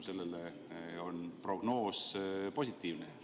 Kas mitte tänu sellele pole prognoos positiivne?